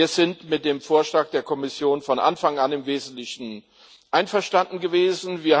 Wir sind mit dem Vorschlag der Kommission von Anfang an im Wesentlichen einverstanden gewesen.